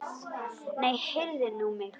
Nei, heyrðu mig nú!